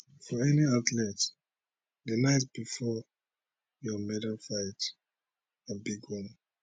for any athlete di night bifor your medalfight na big one